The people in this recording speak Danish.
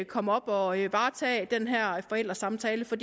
komme op og varetage den her forældresamtale for